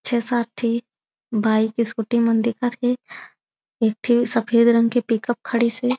छे-सात ठी bike scooty मन दिखत थे एक ठी सफ़ेद रंग के पिकप खडीस हे।